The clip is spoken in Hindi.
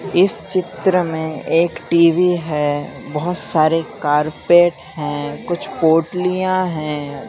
इस चित्र में एक टी_वी है बहुत सारे कारपेट हैं कुछ पोटलियां हैं।